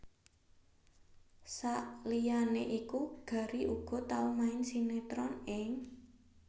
Saliyané iku Gary uga tau main sinetron ing